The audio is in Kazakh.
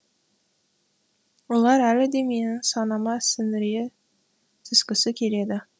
олар әлі де менің санама сіңіре түскісі келеді